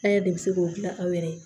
An yɛrɛ de bi se k'o gilan aw yɛrɛ ye